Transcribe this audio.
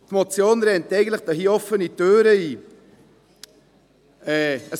Die Motion rennt hier eigentlich offene Türen ein.